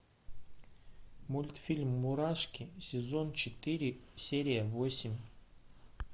мультфильм мурашки сезон четыре серия восемь